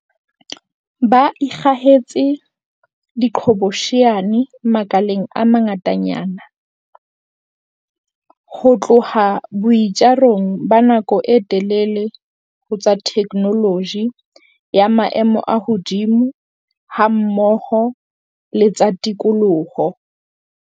Ba ikgahetse diqhobosheane makaleng a mangatanyana, ho tloha boitjarong ba nako e telele ho tsa theknoloji ya maemo a hodimo hammoho le tsa tikoloho.